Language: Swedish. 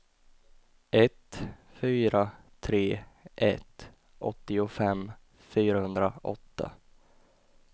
ett fyra tre ett åttiofem fyrahundraåtta